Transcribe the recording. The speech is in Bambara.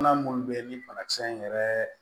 Bana munnu be ni banakisɛ in yɛrɛ